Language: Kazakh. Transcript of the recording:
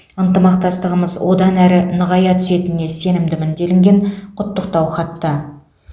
ынтымақтастығымыз одан әрі нығая түсетініне сенімдімін делінген құттықтау хатта